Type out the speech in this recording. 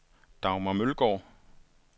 Dagmar Mølgaard